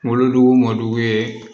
Wolodugu wo ye